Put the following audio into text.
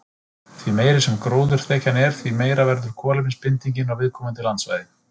Því meiri sem gróðurþekjan er, því meiri verður kolefnisbindingin á viðkomandi landsvæði.